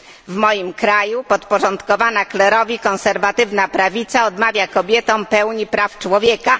W moim kraju podporządkowana klerowi konserwatywna prawica odmawia kobietom pełni praw człowieka.